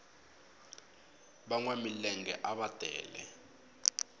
vanwa milenge ava tele